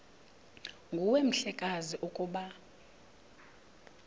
nguwe mhlekazi ukuba